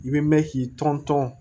I bɛ mɛn k'i tɔn tɔn